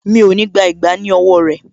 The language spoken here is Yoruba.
Mi ò ní gbà ìgbá ní owó rẹ̀